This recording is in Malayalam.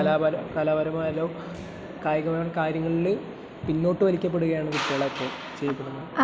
ഇപ്പൊ കലാപരമായാലും കായികപരവുമായ കാര്യങ്ങളില് പിന്നോട്ട് വലിക്കപ്പെടുകയാണ് കുട്ടികളെ ഇപ്പോൾ ചെയ്യിക്കുന്നത്